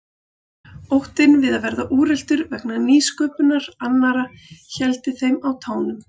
Óttinn við að verða úreltur vegna nýsköpunar annarra héldi þeim á tánum.